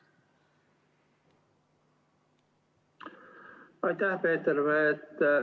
Aitäh, Peeter!